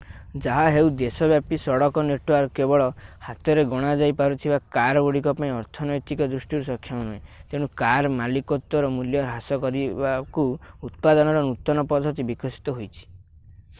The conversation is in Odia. ଯାହାହେଉ ଦେଶବ୍ୟାପୀ ସଡକ ନେଟୱର୍କ କେବଳ ହାତରେ ଗଣାଯାଇ ପାରୁଥିବା କାର ଗୁଡ଼ିକ ପାଇଁ ଅର୍ଥନୈତିକ ଦୃଷ୍ଟିରୁ ସକ୍ଷମ ନୁହେଁ ତେଣୁ କାର ମାଲିକତ୍ତ୍ଵର ମୂଲ୍ୟ ହ୍ରାସ କରିବାକୁ ଉତ୍ପାଦନର ନୂତନ ପଦ୍ଧତି ବିକଶିତ ହୋଇଛି